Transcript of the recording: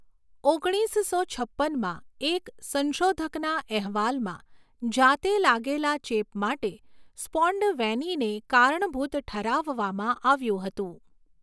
ઓગણીસસો છપ્પનમાં એક સંશોધકના અહેવાલમાં જાતે લાગેલા ચેપ માટે સ્પૉન્ડવેનીને કારણભૂત ઠરાવવામાં આવ્યું હતું.